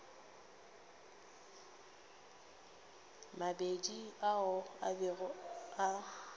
mabedi ao a bego a